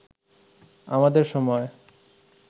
আমাদের সময়